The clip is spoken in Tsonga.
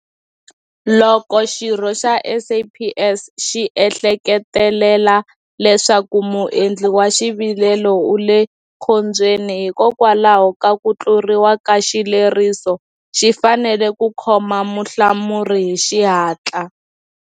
Loko xirho xa SAPS xi ehleketelela leswaku muendli wa xivilelo u le khombyeni hikwalaho ka ku tluriwa ka xileriso, xi fanele ku khoma muhlamuri hi xihatla.